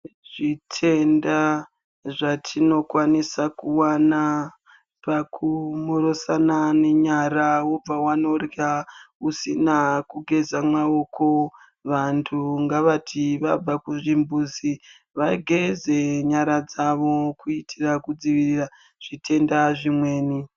Zvitenda zvatino kwanisa kuwana paku mhoro sana ne nyara wobva wanorya usina kugeza maoko vantu ngavati vabva ku zvimbudzi vageze nyara dzavo kuitira ku dzivirira zvitenda zvimweni.